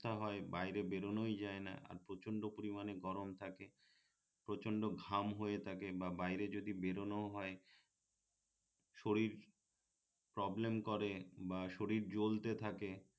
হয় বাইরে বের বেড়োনোই যায়না আর প্রচন্ড পরিমাণে গরম থাকে প্রচন্ড ঘাম হয়ে থাকে বা বাইরে যদি বেড়োনোও হয় শরীর প্রবলেম করে বা শরীর জ্বলতে থাকে